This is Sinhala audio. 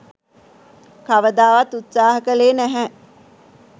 කවදාවත් උත්සාහ කළේ නැහැ